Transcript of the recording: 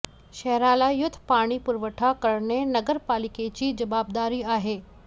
शहराला शुद्ध पाणी पुरवठा करणे नगर पालिकेची जबाबदारी आहे